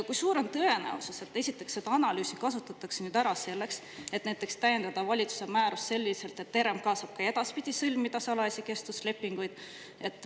Kui suur on tõenäosus, et seda analüüsi kasutatakse nüüd ära selleks, et näiteks täiendada valitsuse määrust selliselt, et RMK saaks ka edaspidi sõlmida salajasi kestvuslepinguid?